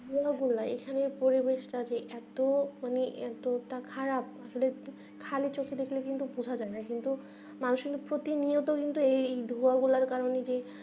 ধুলো গুলাই এখানে পরিবেশ তা এত মানে এত তা খারাপ ধুলো খালি চোখে দেখলে কিন্তু বুঝা যাবে না কিন্তু মানুষিক প্রতিনিয়ত কিন্তু এই ধুলো গুলো কারণে যে